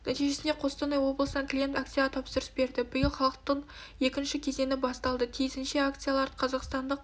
нәтижесінде қостанай облысынан клиент акцияға тапсырыс берді биыл халықтық екінші кезеңі басталды тиісінше акциялары қазақстандық